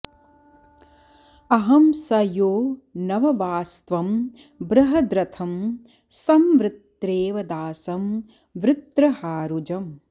अहं स यो नववास्त्वं बृहद्रथं सं वृत्रेव दासं वृत्रहारुजम्